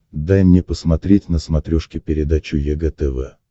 дай мне посмотреть на смотрешке передачу егэ тв